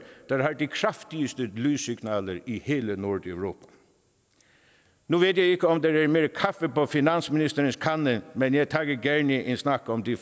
der har de kraftigste lyssignaler i hele nordeuropa nu ved jeg ikke om der er mere kaffe på finansministerens kande men jeg tager gerne en snak om de